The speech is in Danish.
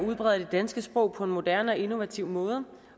udbreder det danske sprog på en moderne og innovativ måde